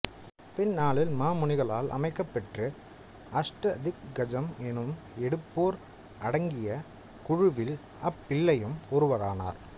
பின்னாளில் மாமுனிகளால் அமைக்கப்பெற்ற அஷ்ட திக் கஜம் எனும் எட்டுப்பேர் அடங்கிய குழுவில் அப்பிள்ளையும் ஒருவரானார்